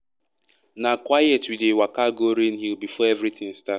na quiet we dey waka go rain hill before everything start.